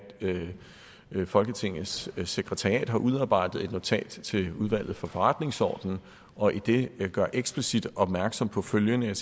folketingets sekretariat har udarbejdet et notat til udvalget for forretningsordenen og i det gør explicit opmærksom på følgende